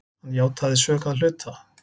Hann játaði sök að hluta.